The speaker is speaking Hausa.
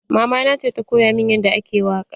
Mama na ce ta koya min yadda ake waƙa.